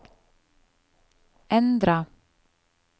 endra